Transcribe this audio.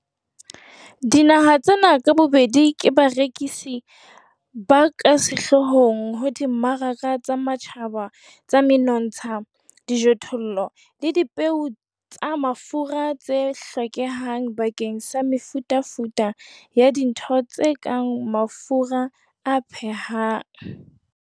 Dinaha tsena ka bobedi ke barekisi ba ka sehloohong ho dimmaraka tsa matjhaba tsa menontsha, dijothollo le dipeo tsa mafura tse hlokehang bakeng sa mefutafuta ya dintho tse kang mafura a phehang.